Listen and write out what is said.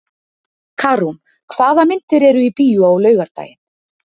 Karún, hvaða myndir eru í bíó á laugardaginn?